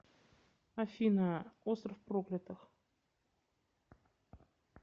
афина остров проклятых